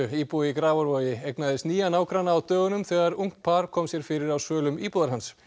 íbúi í Grafarvogi eignaðist nýja nágranna á dögunum þegar ungt par kom sér fyrir á svölum íbúðar hans